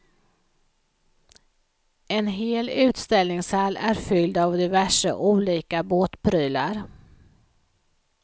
En hel utställningshall är fylld av diverse olika båtprylar.